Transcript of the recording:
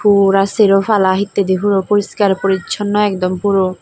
pura serobala hettay de puro poreskar pores sunno akdom puro.